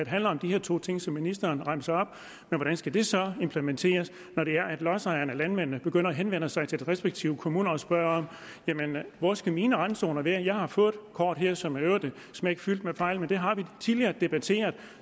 handler om de her to ting som ministeren remser op men hvordan skal det så implementeres når det er at lodsejerne og landmændene begynder at henvende sig til de respektive kommuner og spørger jamen hvor skal mine randzoner være jeg har fået et kort her som i øvrigt er smækfyldt med fejl men det har vi tidligere debatteret og